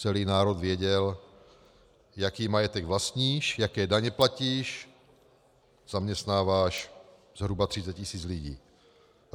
Celý národ věděl, jaký majetek vlastníš, jaké daně platíš, zaměstnáváš zhruba 30 tisíc lidí.